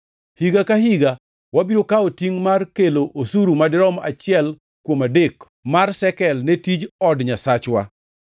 “Higa ka higa wabiro kawo tingʼ mar kelo osuru madirom achiel kuom adek mar shekel ne tij od Nyasachwa,